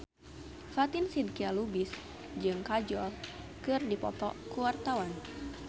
Fatin Shidqia Lubis jeung Kajol keur dipoto ku wartawan